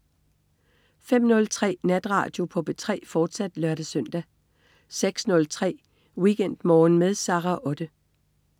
05.03 Natradio på P3, fortsat (lør-søn) 06.03 WeekendMorgen med Sara Otte